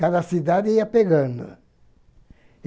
Cada cidade ia pegando.